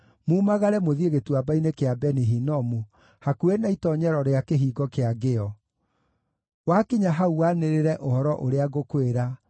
mumagare mũthiĩ Gĩtuamba-inĩ kĩa Beni-Hinomu, hakuhĩ na itoonyero rĩa Kĩhingo-kĩa-Ngĩo. Wakinya hau wanĩrĩre ũhoro ũrĩa ngũkwĩra,